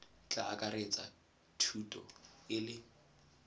tla akaretsa thuto e le